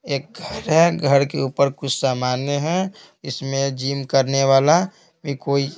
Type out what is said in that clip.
एक है घर के ऊपर कुछ सामान्य है इसमें जिम करने वाला भी कोई--